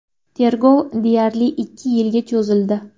Tergov deyarli ikki yilga cho‘zildi.